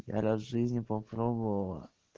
я раз в жизни попробовала